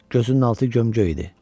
Gözünün altı gömgöy idi.